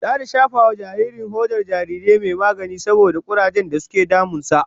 Zata shafa wa jaririn hodar jarirai mai magani saboda kurajen zafi dake damun sa